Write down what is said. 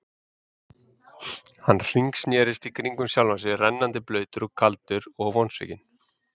Hann hringsnerist í kringum sjálfan sig, rennandi blautur, kaldur og vonsvikinn.